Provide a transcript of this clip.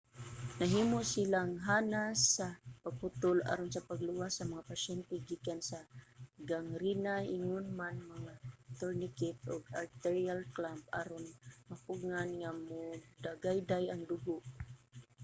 nahimo silang hanas sa pagputol aron sa pagluwas sa mga pasyente gikan sa gangrena ingon man mga tourniquet ug arterial clamp aron mapugngan nga modagayday ang dugo